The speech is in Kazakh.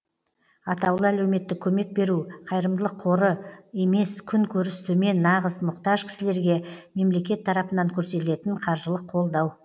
атаулы әлеуметтік көмек беру қайырымдылық қоры емес күн көріс төмен нағыз мұқтаж кісілерге мемлекет тарапынан көрсетілетін қаржылық қолдау